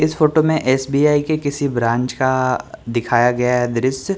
इस फोटो में एस_बी_आई के किसी ब्रांच का दिखाया गया है दृश्य।